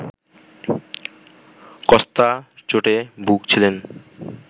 Costa চোটে ভুগছিলেন